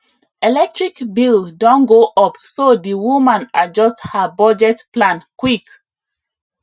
electric bill don go up so di woman adjust her budget plan quick